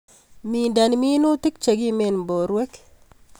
Minden minutik chekimen borwek.